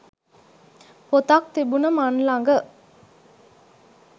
පොතක් තිබුන මන් ළඟ.